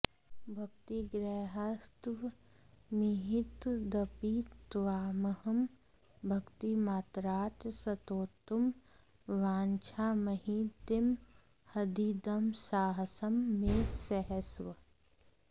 भक्तिग्राह्यस्त्वमिह तदपि त्वामहं भक्तिमात्रात् स्तोतुं वाञ्छाम्यतिमहदिदं साहसं मे सहस्व